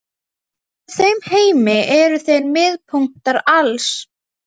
Í þeim heimi eru þeir miðpunktar alls.